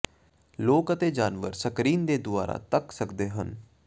ਲੋਕ ਅਤੇ ਜਾਨਵਰ ਸਕਰੀਨ ਦੇ ਦੁਆਰਾ ਧੱਕ ਸਕਦੇ ਹਨ